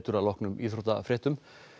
að loknum íþróttafréttum